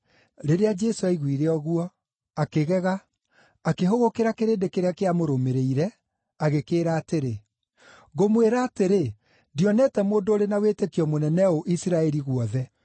Rĩrĩa Jesũ aiguire ũguo, akĩgega, akĩhũgũkĩra kĩrĩndĩ kĩrĩa kĩamũrũmĩrĩire, agĩkĩĩra atĩrĩ, “Ngũmwĩra atĩrĩ, ndionete mũndũ ũrĩ na wĩtĩkio mũnene ũũ Isiraeli guothe!”